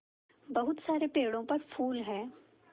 बहुत सारे पेड़ों पर फूल है